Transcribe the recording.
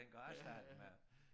Den kan også starte med at